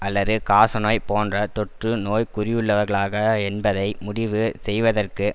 அல்லறு காசநோய் போன்ற தொற்று நோய் குறியுள்ளவர்களாக என்பதை முடிவு செய்வதற்கு